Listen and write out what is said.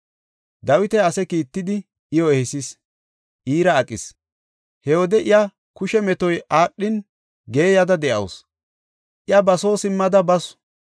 Dawiti ase kiittidi, iyo ehisis, iira aqis. He wode iya kushe metoy aadhin, geeyada de7awusu. Iya ba soo simmada basu.